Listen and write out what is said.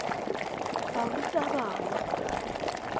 barutabana